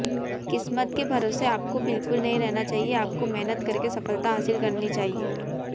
किस्मत के भरोसे आपको बिल्कुल नहीं रहना चाहिए आपको मेहनत करके सफलता हासिल करनी चाहिये